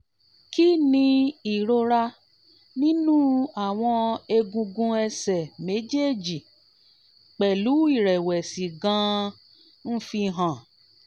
kí ni ìrora ninu àwọn egungun ẹsẹ̀ méjèèjì pelu irẹ̀wẹ̀sì gan-an ń fi hàn?